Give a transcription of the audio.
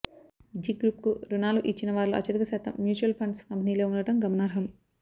G గ్రూప్కు రుణాలు ఇచ్చిన వారిలో అత్యధిక శాతం మ్యూచువల్ ఫండ్స్ కంపెనీలే ఉండటం గమనార్హం